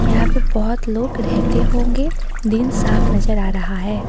यहां पे बहोत लोग रहते होंगे दिन साफ नजर आ रहा है।